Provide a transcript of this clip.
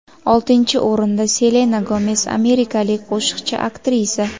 Oltinchi o‘rinda Selena Gomes – amerikalik qo‘shiqchi, aktrisa.